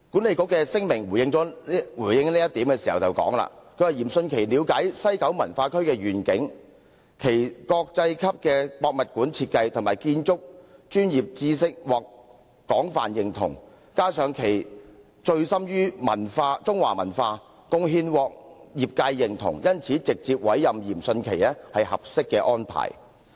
西九文化區管理局發表聲明表示，嚴迅奇了解西九文化區的願景，其國際級的博物館設計及建築專業知識獲廣泛認同，加上他醉心中華文化，貢獻獲業界認同，因此直接委任是合適的安排。